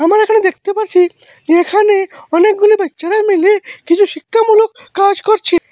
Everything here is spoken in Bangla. আমরা এখানে দেখতে পারছি যে এখানে অনেকগুলি বাচ্চারা মিলে কিছু শিক্ষামূলক কাজ করছে।